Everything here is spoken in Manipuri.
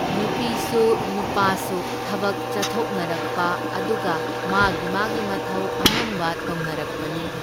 ꯅꯨꯄꯤꯁꯨ ꯅꯨꯄꯥꯁꯨ ꯊꯕꯛ ꯆꯠꯊꯣꯛꯅꯔꯛꯄ, ꯑꯗꯨꯒ ꯃꯥꯒꯤ ꯃꯥꯒꯤ ꯃꯊꯧ ꯑꯉꯝꯕ ꯇꯧꯅꯔꯛꯄꯅꯤ꯫